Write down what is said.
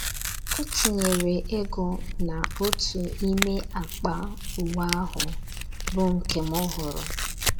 O tinyere ego n’otu n’ime akpa uwe ahụ, bụ́ nke m hụrụ.